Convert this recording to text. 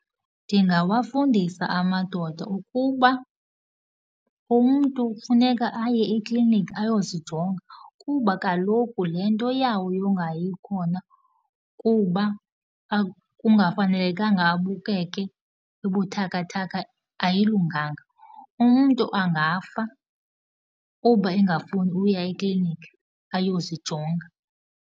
Ndingawafundisa amadoda ukuba umntu kufuneka aye ekliniki ayozijonga kuba kaloku le nto yabo yongayi khona kuba kungafunekanga abukeke ebuthakathaka ayilunganga. Umntu angafa kuba engafuni uya ekliniki ayozijonga.